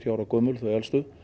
ára gömul þau elstu